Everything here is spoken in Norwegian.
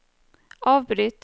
avbryt